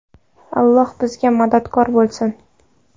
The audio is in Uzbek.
Alloh bizga madadkor bo‘lsin.